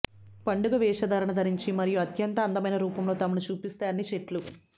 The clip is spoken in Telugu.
పండుగ వేషధారణ ధరించి మరియు అత్యంత అందమైన రూపంలో తమను చూపిస్తే అన్ని చెట్లు